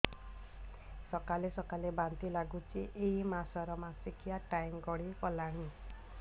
ସକାଳେ ସକାଳେ ବାନ୍ତି ଲାଗୁଚି ଏଇ ମାସ ର ମାସିକିଆ ଟାଇମ ଗଡ଼ି ଗଲାଣି